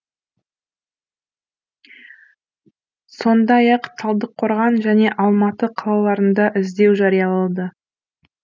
сондай ақ талдықорған және алматы қалаларында іздеу жариялады